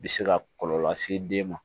Bi se ka kɔlɔlɔ lase den ma